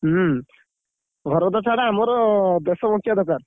ହୁଁ, ଘର ତ ଛାଡ। ଆମର ଦେଶ ବଞ୍ଚିବା ଦରକାର।